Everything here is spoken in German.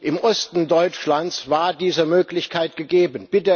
Im Osten Deutschlands war diese Möglichkeit gegeben.